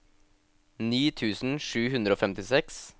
ni tusen sju hundre og femtiseks